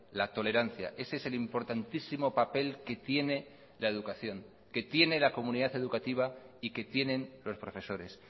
la tolerancia ese es el importantísimo papel que tiene la educación que tiene la comunidad educativa y que tienen los profesores